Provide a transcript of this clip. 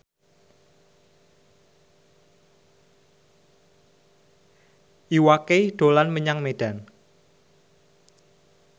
Iwa K dolan menyang Medan